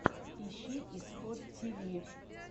ищи исход тиви